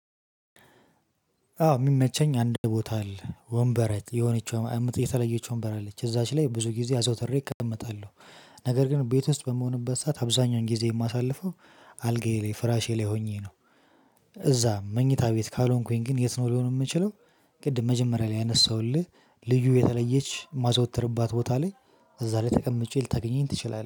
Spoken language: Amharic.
አዎ የሚመቸኝ አንድ ቦታ አለ ወንበር የሆነችው የተለየችው ወንበር አለች እዛች ላይ ብዙ ጊዜ አዘውተሬ እቀመጣለሁ። ነገር ግን ቤት ውስጥ በምሆንበት ሰዓት አብዛኛውን ጊዜ የማሳልፈው አልጋዬ ላይ ፍራሼ ላይ ሆኜ ነው። እዛ መኝታ ቤት ካልሆንኩኝ ግን የት ነው ሊሆን የምችለው? ቅድም መጀመሪያ ላይ ያነሳሁልህ ልዩ የተለየች ማዘወተርባት ቦታ ላይ እዛ ላይ ተቀምጬ ልታገኘኝ ትችላለህ